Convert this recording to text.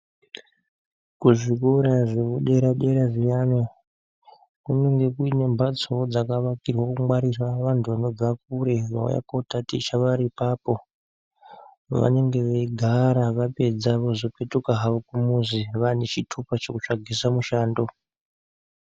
Kuzvikora zvekudere dera zviyani kunemge kuine mbatsowo dzakavakirwe kungwarira vantu vanobva kure vanouya kotaticha ipapo vanenge veigara vapedza vozopetuka havo kumuzi vane chitupa chekuysvagisa mushando